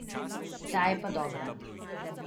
Ta je pa dobra.